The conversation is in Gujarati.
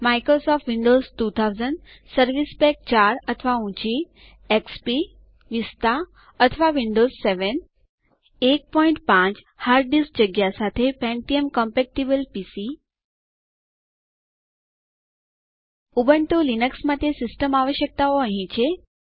માઇક્રોસોફ્ટ વિન્ડોઝ 2000 સર્વિસ પેક 4 અથવા ઊંચી XP Vista or Windows 7pentium compatible PC hard disk જગ્યા ઉપલબ્ધ ઉબુન્ટુ લિનક્સ માટે સિસ્ટમ આવશ્યકતાઓ અહીં છે